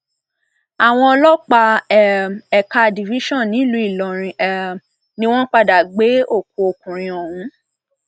àwọn ọlọpàá um ẹka a division nílùú ìlọrin um ni wọn padà gbé òkú ọkùnrin ọhún